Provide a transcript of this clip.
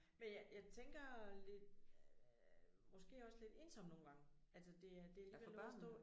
Men jeg jeg tænker lidt måske også lidt ensomt nogle gange altså det er det alligevel noget at stå